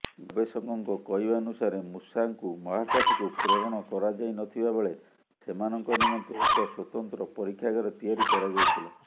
ଗବେଷକଙ୍କ କହିବାନୁସାରେ ମୂଷାଙ୍କୁ ମହାକାଶକୁ ପ୍ରେରଣ କରାଯାଇନଥିବାବେଳେ ସେମାନଙ୍କ ନିମନ୍ତେ ଏକ ସ୍ବତନ୍ତ୍ର ପରୀକ୍ଷାଗାର ତିଆରି କରାଯାଇଥିଲା